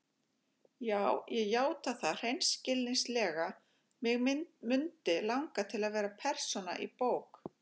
Já ég játa það hreinskilnislega: mig mundi langa til að vera persóna í bók.